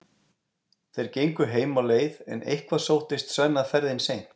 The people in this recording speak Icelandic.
Þeir gengu heim á leið en eitthvað sóttist Svenna ferðin seint.